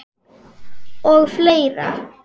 Og fleira.